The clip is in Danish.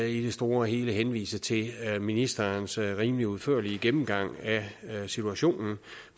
i det store hele henvise til ministerens rimelig udførlige gennemgang af situationen